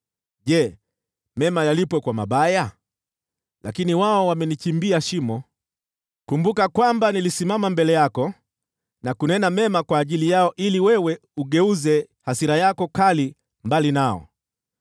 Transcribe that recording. Je, mema yalipwe kwa mabaya? Lakini wao wamenichimbia shimo. Kumbuka kwamba nilisimama mbele yako na kunena mema kwa ajili yao, ili wewe ugeuze hasira yako kali mbali nao.